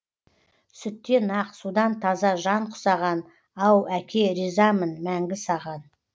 сүттен ақ судан таза жан құсаған ау әке ризамын мәңгі саған